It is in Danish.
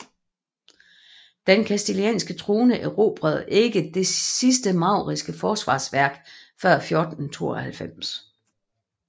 Den kastilianske trone erobrede ikke det sidste mauriske forsvarsværk før 1492